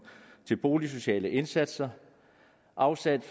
til boligsociale indsatser og afsat